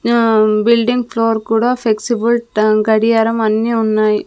ఆ building floor కూడా flexible గడియారం అన్నీ ఉన్నాయి.